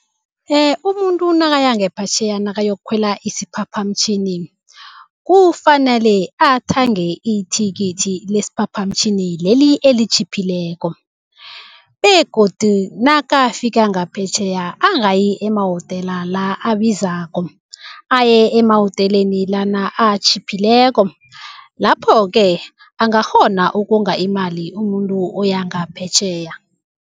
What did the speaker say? Umuntu nakaya ngaphetjheya nakayokukhwela isiphaphamtjhini, kufanele athenge ithikithi lesiphaphamtjhini leli elitjhiphileko begodu nakafika ngaphetjheya angayi emahotela la abizako, aye emahoteleni lana atjhiphileko lapho-ke angakghona ukonga imali umuntu oyangaphetjheya.